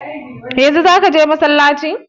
Yanzu zaka je masallaci?